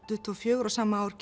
tuttugu og fjögur og sama ár